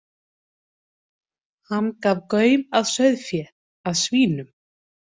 Hann gaf gaum að sauðfé, að svínum.